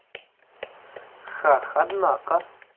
хах однако